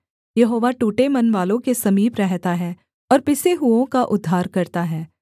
यहोवा टूटे मनवालों के समीप रहता है और पिसे हुओं का उद्धार करता है